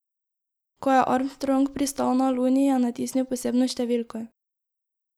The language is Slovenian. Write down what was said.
Ko je Armstrong pristal na Luni, je natisnil posebno številko.